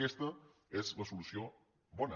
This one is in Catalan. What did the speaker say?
aquesta és la solució bona